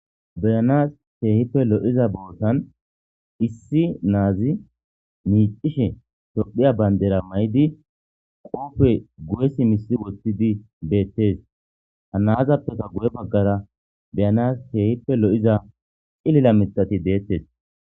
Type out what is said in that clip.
Beyanasi Kehippe loyiza bessani issi na'azi micishe tophiya banidira mayidi qobe guye simisi wothi dibettesi ha na'azape guye bagara beyanasi kehipe liyida cilila mithati detesi